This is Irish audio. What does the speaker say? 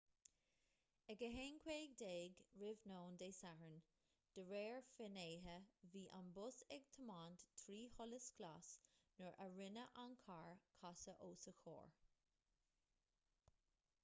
ag 1:15 r.n. dé sathairn de réir finnéithe bhí an bus ag tiomáint trí sholas glas nuair a rinne an carr casadh os a chomhair